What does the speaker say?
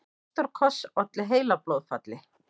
Ástarkoss olli heilablóðfalli